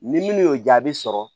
Ni minnu y'o jaabi sɔrɔ